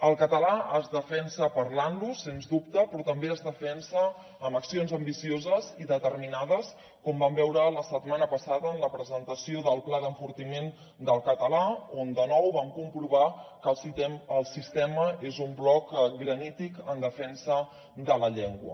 el català es defensa parlant lo sens dubte però també es defensa amb accions ambicioses i determinades com vam veure la setmana passada en la presentació del pla d’enfortiment del català on de nou vam comprovar que el sistema és un bloc granític en defensa de la llengua